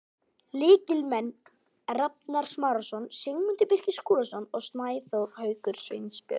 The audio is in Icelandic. Lykilmenn: Rafnar Smárason, Sigmundur Birgir Skúlason, Snæþór Haukur Sveinbjörnsson.